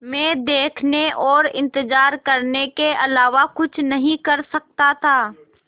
मैं देखने और इन्तज़ार करने के अलावा कुछ नहीं कर सकता था